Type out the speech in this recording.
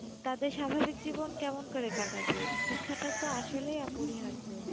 তাদের স্বাভাবিক জীবন কেমন করে কাটাবে? শিক্ষাটা তো আসলেই অপরিহার্য।